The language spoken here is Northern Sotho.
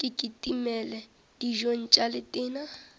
ke kitimele dijong tša letena